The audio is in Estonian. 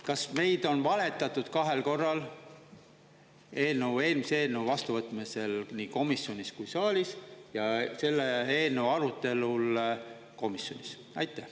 Kas meile on valetatud kahel korral: eelnõu eelmise eelnõu vastuvõtmisel nii komisjonis kui ka saalis ja selle eelnõu arutelul komisjonis?